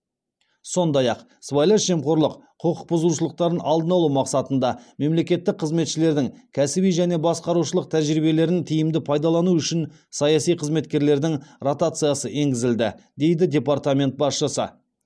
сондай ақ сыбайлас жемқорлық құқықбұзушылықтарын алдын алу мақсатында мемлекеттік қызметшілердің кәсіби және басқарушылық тәжірибелерін тиімді пайдалану үшін саяси қызметкерлердің ротациясы енгізілді дейді департамент басшысы